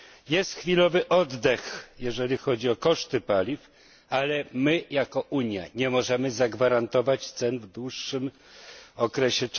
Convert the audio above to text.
Jest chwilowy oddech, jeżeli chodzi o koszty paliw, ale my, jako Unia, nie możemy zagwarantować cen w dłuższym okresie.